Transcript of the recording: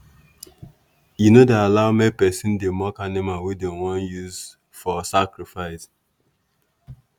e no dey allow make person dey mock animal wey dem want use for sacrifice.